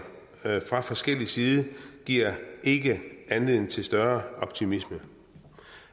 fra forskellig side giver ikke anledning til større optimisme